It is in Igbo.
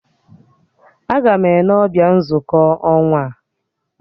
Agam Ene ọbịa nzukọ ọnwa a